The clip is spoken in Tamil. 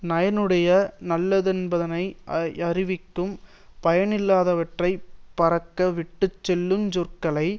நயனுடைய னல்லனென்பதனை யறிவிக்கும் பயனில்லாதவற்றை பரக்க விட்டு சொல்லு சொற்கள்